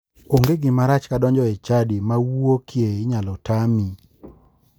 Onge gimarach ka donjo e chadi ma wuokie nyalo tami .